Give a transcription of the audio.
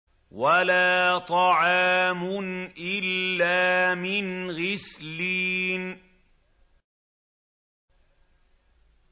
وَلَا طَعَامٌ إِلَّا مِنْ غِسْلِينٍ